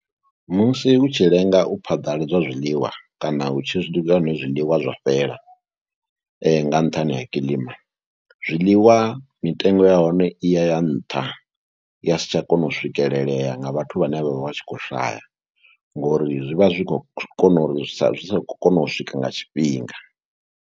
Musi u tshi lenga u phaḓaladzwa zwiḽiwa kana hu tshi swika hune zwiḽiwa zwa fhela nga nṱhani ha kilima. Zwiḽiwa mitengo ya hone i ya ya nṱha, ya si tsha kona u swikelelea nga vhathu vhane vha vha tshi kho shaya ngori zwi vha zwi khou kona uri zwi sa, zwi sa kona u swika nga tshifhinga.